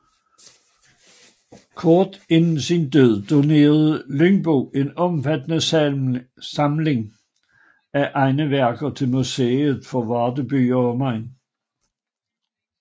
Kort inden sin død donerede Lyngbo en omfattende samling af egne værker til Museet for Varde By og Omegn